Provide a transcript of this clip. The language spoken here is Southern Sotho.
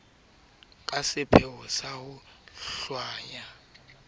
ka sepheo sa ho hlwaya